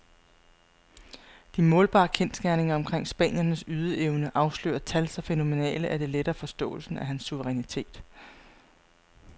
De målbare kendsgerninger omkring spanierens ydeevne afslører tal så fænomenale, at det letter forståelsen af hans suverænitet.